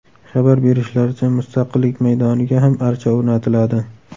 Xabar berishlaricha, Mustaqillik maydoniga ham archa o‘rnatiladi.